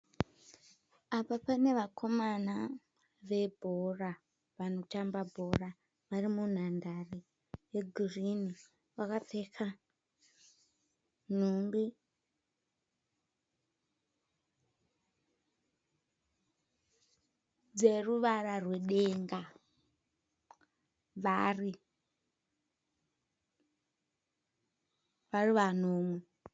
Apa pane vakomana vebhora vanotamba bhora varimunhandare yegirini. Vakapfeka nhumbi dzeruvara rwedenga vari vanomwe.